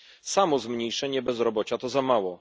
Samo zmniejszenie bezrobocia to za mało.